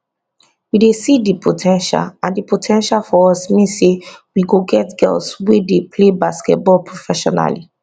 we dey see di po ten tial and di po ten tial for us mean say we go get girls wey dey pay basketball professionally